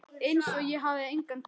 Einsog ég hafi engan kraft.